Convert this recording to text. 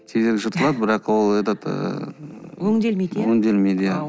тезірек жыртылады бірақ ол этот ы өңделмейді иә өңделмейді